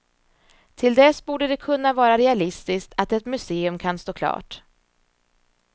Till dess borde det kunna vara realistiskt att ett museum kan stå klart.